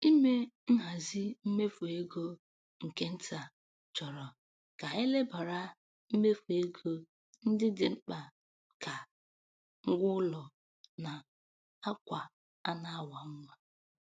Ime nhazi mmefu ego nke nta chọrọ ka e lebara mmefu ego ndị dị mkpa ka ngwaụlọ na akwa a na-awa nwa.